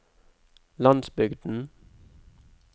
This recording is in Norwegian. landsbygden